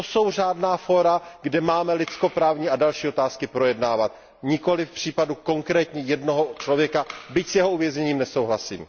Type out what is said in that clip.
To jsou řádná fóra, kde máme lidskoprávní a další otázky projednávat, nikoli případ konkrétního jednoho člověka, byť s jeho uvězněním nesouhlasím.